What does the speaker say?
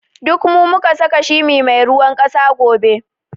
Duk mu saka shimi mai ruwan ƙasa gobe